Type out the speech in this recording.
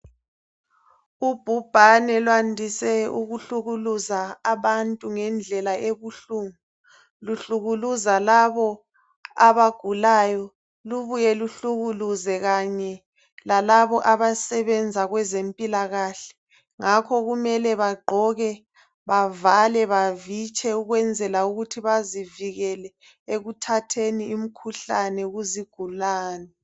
Ubhubhane lwandise ukuhlukuluza abantu ngendlela ebuhlungu. Luhlukuluza labo abagulayo. Lubuye luhlukuluze kanye lalabo abasebenza kwezempilakahle. Ngakho kumele bagqoke, bavale bavitshe, ukwenzela ukuthi bazivikele ekuthatheni imikhuhlane kuzigulane.